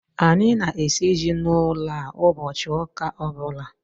Anyị na-esi ji n'ụlọ a ụbọchị ụka ọbụla